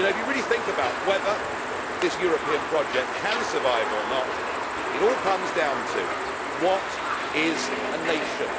If you really think about whether this European project can survive, or not, it all comes down to what is a nation'?